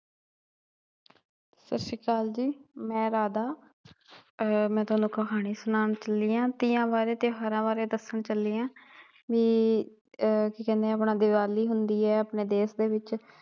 ਸਤਿ ਸ਼੍ਰੀ ਅਕਾਲ ਜੀ। ਮੈ ਰਾਧਾ ਅਹ ਮੈ ਤੁਹਾਨੂੰ ਕਹਾਣੀ ਸੁਣਾਉਣ ਚੱਲੀ ਆ ਤੀਆ ਬਾਰੇ ਤਿਉਹਾਰਾਂ ਬਾਰੇ ਦੱਸਣ ਚੱਲੀ ਆ ਕੀ ਆ ਕੀ ਕਹਿੰਦੇ ਆ ਆਪਣਾ ਦੀਵਾਲੀ ਹੁੰਦੀ ਏ ਆਪਣੇ ਦੇਸ਼ ਦੇ ਵਿੱਚ